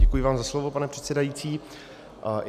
Děkuji vám za slovo, pane předsedající.